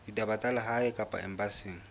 ditaba tsa lehae kapa embasing